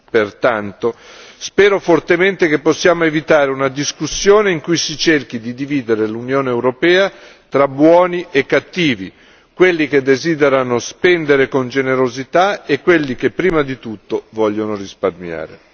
Pertanto, spero fortemente che possiamo evitare una discussione in cui si cerchi di dividere l'Unione europea tra buoni e cattivi, quelli che desiderano spendere con generosità e quelli che prima di tutto vogliono risparmiare.